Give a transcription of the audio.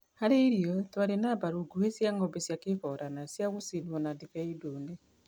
Harĩ irio twarĩ na mbaru nguhĩ cia ng'ombe cia kĩborana cia gũcinwo na ndibei ndune.